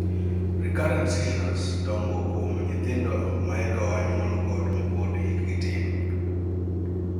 Recurrent seizures dongo kuon nyithindo maeka oa nyuol kod mapod hikgi tin